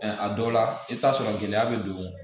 a dɔw la i bɛ taa sɔrɔ gɛlɛya bɛ don